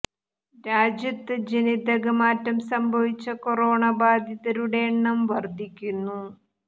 രാജ്യത്ത് ജനിതക മാറ്റം സംഭവിച്ച കൊറോണ ബാധിതരുടെ എണ്ണം വർദ്ധിക്കുന്നു